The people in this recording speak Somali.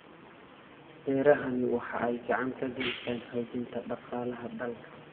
Beerahani waxa ay gacan ka geystaan ??xoojinta dhaqaalaha dalka.